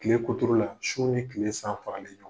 Tile kuturu la su ni tile san faralen don,